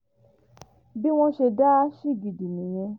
bí wọ́n ṣe dá a ṣagídí nìyẹn